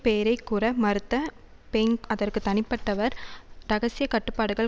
பெயரை கூற மறுத்த பெயின் அதற்கு தனிப்பட்டவர் இரகசிய கட்டுப்பாடுகள்